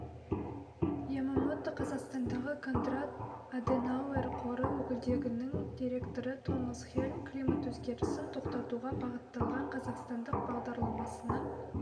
ямомото қазақстандағы кондрад аденауэр қоры өкілдігінің директоры томас хельм климат өзгерісін тоқтатуға бағытталған қазақстандық бағдарламасының